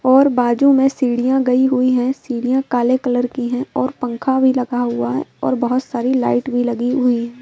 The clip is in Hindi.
और बाजू में सीढ़ियां गई हुई हैं सीढ़ियां काले कलर की हैं और पंखा भी लगा हुआ है और बहुत सारी लाइट भी लगी हुई है।